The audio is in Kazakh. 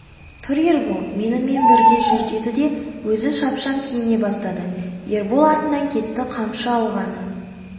тұр ербол менімен бірге жүр деді де өзі шапшаң киіне бастады ербол артынан кетті қамшы алғаны